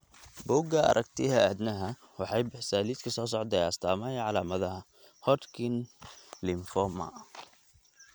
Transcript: Bugga Aragtiyaha Aadanaha waxay bixisaa liiska soo socda ee astaamaha iyo calaamadaha Hodgkin lymphoma.